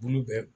Bulu bɛ